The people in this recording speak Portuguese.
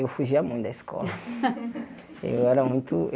Eu fugia muito da escola. Eu era muito